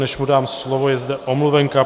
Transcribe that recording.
Než mu dám slovo, je zde omluvenka.